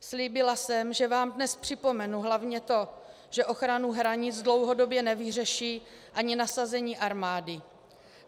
Slíbila jsem, že vám dnes připomenu hlavně to, že ochranu hranic dlouhodobě nevyřeší ani nasazení armády.